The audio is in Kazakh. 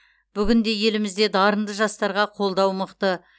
бүгінде елімізде дарынды жастарға қолдау мықты